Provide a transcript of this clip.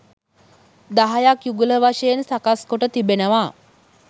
දහයක් යුගල වශයෙන් සකස් කොට තිබෙනවා